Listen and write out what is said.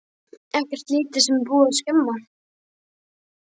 Ekkert lítið sem er búið að skemma!